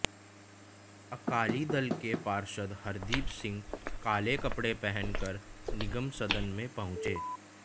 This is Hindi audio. अकाली दल के पार्षद हरदीप सिंह काले कपड़े पहनकर निगम सदन में पहुंचे